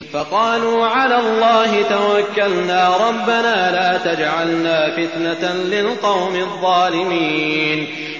فَقَالُوا عَلَى اللَّهِ تَوَكَّلْنَا رَبَّنَا لَا تَجْعَلْنَا فِتْنَةً لِّلْقَوْمِ الظَّالِمِينَ